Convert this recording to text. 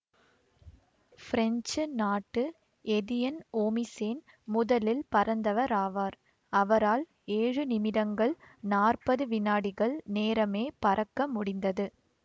French நாட்டு Etienne Oehmichen முதலில் பறந்தவராவார்அவரால் ஏழு நிமிடங்கள் நாற்பது வினாடிகள் நேரமே பறக்க முடிந்தது